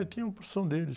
É, tinha um porção deles.